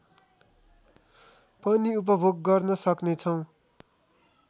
पनि उपभोग गर्न सक्ने छौँ